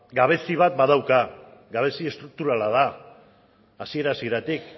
gabezia bat badauka gabezia estrukturala da hasiera hasieratik